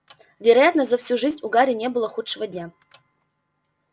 вероятно за всю жизнь у гарри не было худшего дня